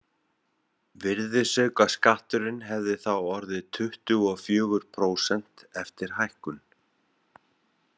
Virðisaukaskatturinn hefði þá orðið tuttugu og fjögur prósent eftir hækkun.